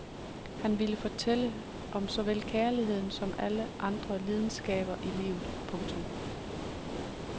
Han ville fortælle om såvel kærligheden som alle andre lidenskaber i livet. punktum